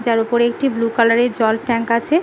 যার ওপরে একটি বুলু কালার এর জল ট্যাঙ্ক আছে ।